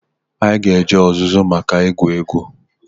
Anyị ga-eje ọzụzụ maka ịgụ egwu.